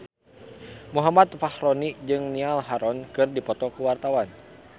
Muhammad Fachroni jeung Niall Horran keur dipoto ku wartawan